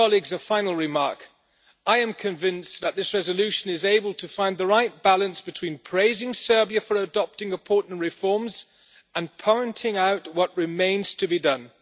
A final remark I am convinced that this resolution is able to find the right balance between praising Serbia for adopting important reforms and pointing out what remains to be done.